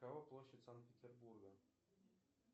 какова площадь санкт петербурга